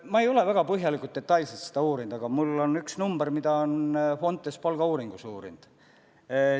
Ma ei ole väga põhjalikult, detailselt seda uurinud, aga mulle on teada üks number, mille Fontes on palgauuringus kindlaks teinud.